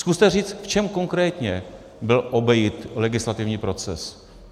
Zkuste říct, v čem konkrétně byl obejit legislativní proces.